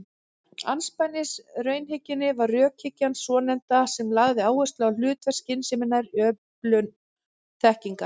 Andspænis raunhyggjunni var rökhyggjan svonefnda sem lagði áherslu á hlutverk skynseminnar í öflun þekkingar.